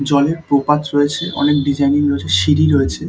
জলের প্রপাত রয়েছে অনেক ডিজানিং রয়েছে সিঁড়ি রয়েছে ।